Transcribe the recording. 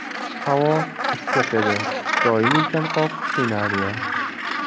Havo issiq edi , doimiy chanqoq qiynardi .